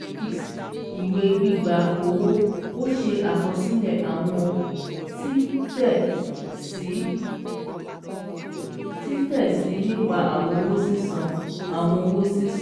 vi) Ìwé gbígba owó: Ó ṣe àkosílè àwọn títè sí nípa àwọn owó sísan. àwọn owó sísan.